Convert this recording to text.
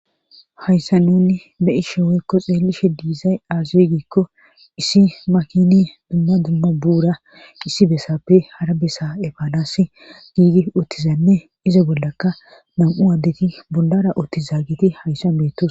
Hayssa nunni beyi sheweykko xeellishe diizay aazuwe giikko issi makini dumma dumma buura issi bessappe hara bessa efaanas giigi uottizanne izo bollaka nam7u addeti bundara otti zaagiti hayssa meettos.